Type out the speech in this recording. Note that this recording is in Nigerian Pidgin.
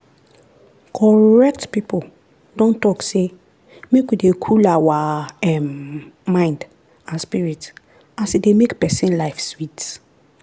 correct pipo don talk say make we dey cool our um mind and spirit as e dey make pesin life sweet.